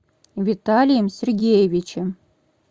виталием сергеевичем